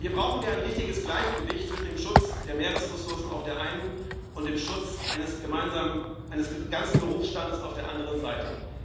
Hier brauchen wir ein richtiges Gleichgewicht zwischen dem Schutz der Meeresressourcen auf der einen und dem Schutz eines ganzen Berufsstandes auf der anderen Seite.